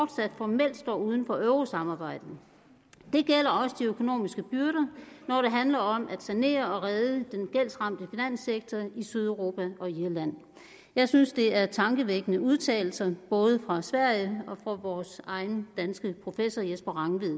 selv om uden for eurosamarbejdet det gælder også de økonomiske byrder når det handler om at sanere og redde den gældsramte finanssektor i sydeuropa og i irland jeg synes det er tankevækkende udtalelser både fra sverige og fra vores egen danske professor jesper rangvid